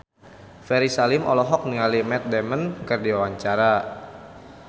Ferry Salim olohok ningali Matt Damon keur diwawancara